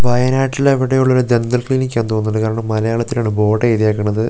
വയനാട്ടിൽ എവിടെയോ ഉള്ള ദന്ദൽ ക്ലിനിക് തോന്നുന്നു കാരണം മലയാളത്തിലാണ് ബോർഡ്‌ എഴുതിയേക്കണത് രണ്ട് --